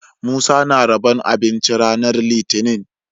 Musa na rabon abinci ranar litinin